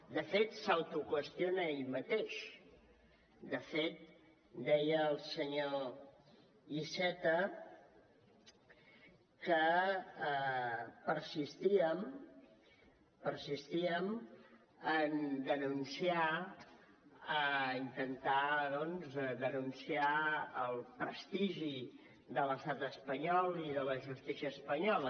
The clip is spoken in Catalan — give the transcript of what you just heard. de fet s’autoqüestiona ell mateix de fet deia el senyor iceta que persistíem a intentar doncs denunciar el prestigi de l’estat espanyol i de la justícia espanyola